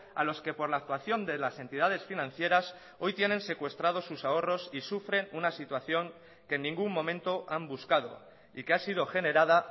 a los que por la actuación de las entidades financieras hoy tienen secuestrados sus ahorros y sufren una situación que en ningún momento han buscado y que ha sido generada